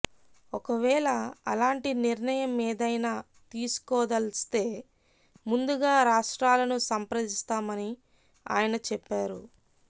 ఒకవేళ అలాంటి నిర్ణయమేదైనా తీసుకోదలిస్తే ముందుగా రాష్ట్రాలను సంప్రదిస్తామని ఆయన చెప్పారు